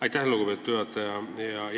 Aitäh, lugupeetud juhataja!